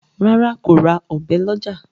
ràrá kò rà Ọ̀bẹ ló ọjà.